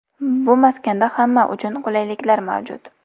Bu maskanda hamma uchun qulayliklar mavjud.